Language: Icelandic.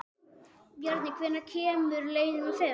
Bjarný, hvenær kemur leið númer fimm?